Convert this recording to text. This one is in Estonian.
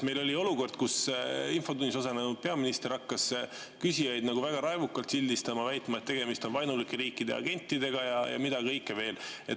Meil oli olukord, kus infotunnis osalenud peaminister hakkas küsijaid väga raevukalt sildistama, väitma, et tegemist on vaenulike riikide agentidega, ja mida kõike veel.